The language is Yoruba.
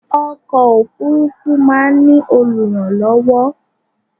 Ọkọ̀ òfúrúfú máa ń ní olùrànlọ́wọ́.